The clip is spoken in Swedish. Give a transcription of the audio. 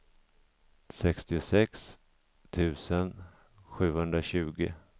sextiosex tusen sjuhundratjugo